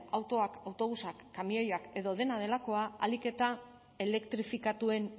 autoak autobusak kamioiak edo dena delakoa ahalik eta elektrifikatuen